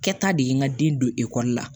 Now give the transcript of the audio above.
Kɛta de ye n ka den don ekɔli la